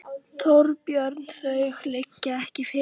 Þorbjörn: Og þau liggja ekki fyrir?